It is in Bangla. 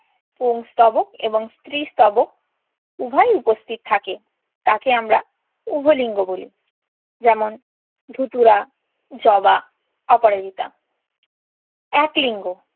পুংস্তবক এবং স্ত্রীস্তবক উভয়ই উপস্থিত থাকে তাকে আমরা উভয় লিঙ্গ বলি। যেমন ধুতুরা, জবা, অপরাজিতা। এক লিঙ্গ।